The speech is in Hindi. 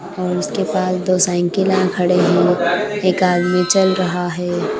और उसके पास दो साइकिल अ खड़े हैं एक आदमी चल रहा है।